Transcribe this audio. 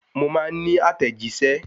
Mo máa ní àtẹ̀jíṣẹ́